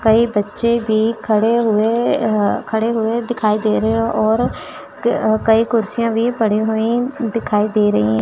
कई बच्चे भी खड़े हुए अह खड़े हुए दिखाई दे रहे हैं और अह कई कुर्सियां भी पड़ी हुई दिखाई दे रही हैं।